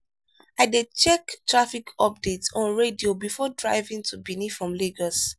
i dey check traffic updates on radio before driving to benin from lagos.